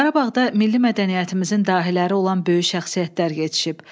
Qarabağda milli mədəniyyətimizin dahiləri olan böyük şəxsiyyətlər yetişib.